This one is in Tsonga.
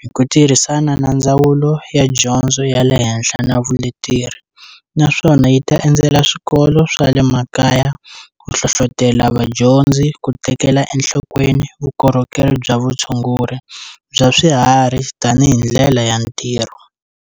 hi ku tirhisana na Ndzawulo ya Dyondzo ya le Henhla na Vuleteri, naswona yi ta endzela swikolo swa le makaya ku hlohlotela vadyondzi ku tekela enhlokweni vukorhokeri bya vutshunguri bya swiharhi tanihi ndlela ya ntirho.